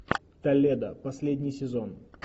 толедо последний сезон